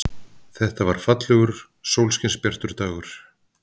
Þetta var fallegur, sólskinsbjartur dagur.